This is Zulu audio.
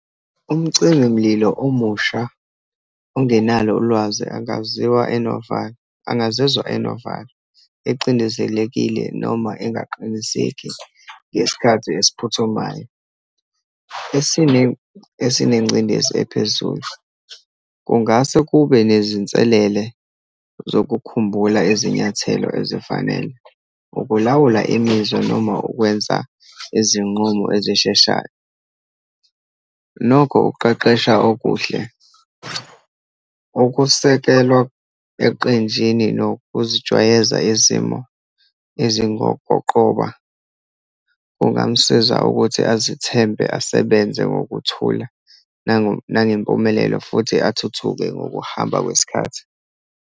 Umcimimlilo omusha ungenalo ulwazi angaziwa enovalo, angazizwa enovalo, ecindezelekile, noma engaqiniseki ngesikhathi esiphuthumayo, esinengcindezi ephezulu. Kungase kube nezinselele zokukhumbula izinyathelo ezifanele, ukulawula imizwa, noma ukwenza izinqumo ezisheshayo. Nokho ukuqeqesha okuhle, ukusekelwa eqenjini, nokuzijwayeza izimo ezingokoqoba, kungamsiza ukuthi azithembe, asebenze ngokuthula nangempumelelo futhi athuthuke ngokuhamba kwesikhathi.